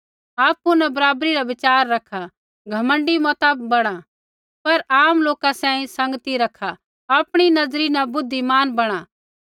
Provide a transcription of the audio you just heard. आपु न बराबरी रा बिचार रैखा घमण्डी मता बणा पर आम लोका सैंघै संगती रखा आपणी नज़री न बुद्धिमान बणा